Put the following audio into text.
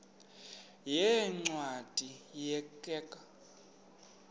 yeencwadi ye kerk